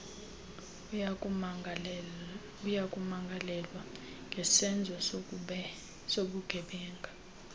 uyakumangalelwa ngesenzo sobugebenga